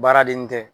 Baaraden tɛ